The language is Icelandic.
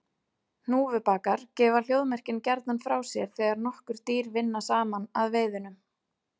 Hnúfubakar gefa hljóðmerkin gjarnan frá sér þegar nokkur dýr vinna saman að veiðunum.